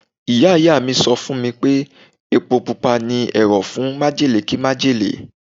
Ìyá Ìyá mi sọ fún mi pé Epo Pupa ni ẹ̀rọ̀ fún májèlé kí májèlé.